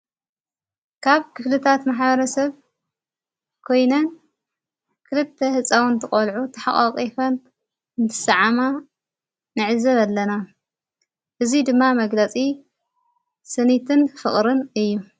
ካብ ክፍልታት መሓረሰብ ኮይነን ክርተ ሕፃዊን ተቖልዑ ተሓቓቒፈን እንትሰዓማ ነዕዘብ ኣለና እዙይ ድማ መግለጺ ስኒትን ፍቕርን እዩ።